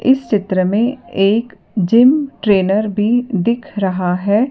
इस चित्र में एक जिम ट्रेनर भी दिख रहा है।